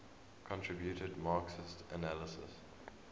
contributed marxist analyses